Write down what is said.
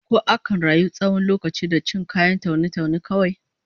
Ko akan rayu tsawon lokaci da cin kayan taune-taune kawai?